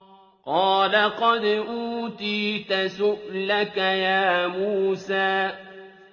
قَالَ قَدْ أُوتِيتَ سُؤْلَكَ يَا مُوسَىٰ